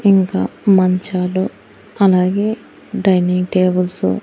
ఇంకా మంచాలు అలాగే డైనింగ్ టేబుల్సు .